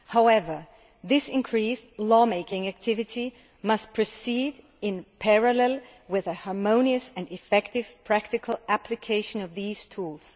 However, this increased law making activity must proceed in parallel with a harmonious and effective practical application of these tools.